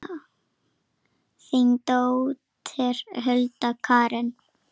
Þín dóttir, Hulda Karen.